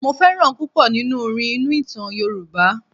Mo fẹ́ràn púpọ̀ nínú orí inú ìtàn Yorùbá.